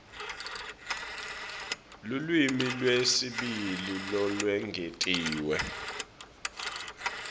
lulwimi lwesibili lolwengetiwe